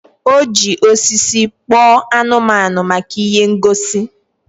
O ji osisi kpoo anumanu maka ihe ngosi